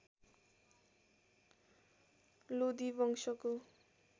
लोदी वंशको